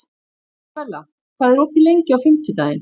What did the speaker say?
Ísabella, hvað er opið lengi á fimmtudaginn?